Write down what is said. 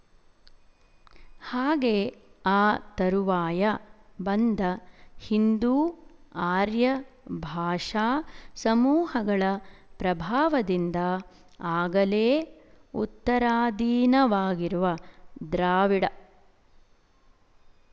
ಹಾಗೆ ಆ ತರುವಾಯ ಬಂದ ಹಿಂದೂ ಆರ್ಯ ಭಾಷಾ ಸಮೂಹಗಳ ಪ್ರಭಾವದಿಂದ ಆಗಲೇ ಉತ್ತರಾದೀನವಾಗಿರುವ ದ್ರಾವಿಡ